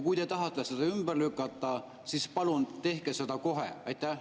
Kui te tahate neid ümber lükata, siis palun tehke seda kohe!